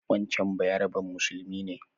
Wancan bayaraben musulmi ne